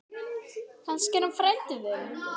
Kannski er hann frændi þinn.